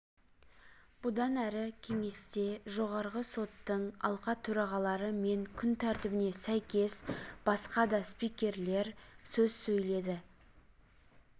бұдан әрі кеңесте жоғарғы соттың алқа төрағалары мен күн тәртібіне сәйкес басқа да спикерлер сөз сөйледі